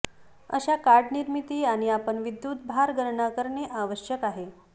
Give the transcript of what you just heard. अशा कार्ड निर्मिती आणि आपण विद्युत भार गणना करणे आवश्यक आहे